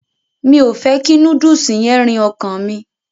Mi o fẹ kí núdùùsì yẹn rìn ọkàn mi.